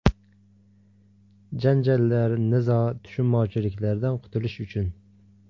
Janjallar, nizo, tushunmovchiliklardan qutulish uchun.